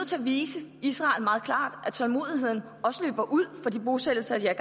til at vise israel meget klart at tålmodigheden også løber ud for de bosættelser de er